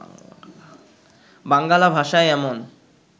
বাঙ্গালা ভাষায় এমন